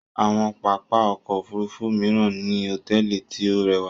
Awọn pápá ọkọ̀ òfurufú miran ni hotẹẹli ti o rẹwa